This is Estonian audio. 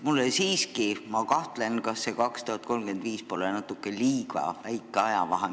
Ma siiski kahtlustan, et aastani 2035 on liiga vähe aega.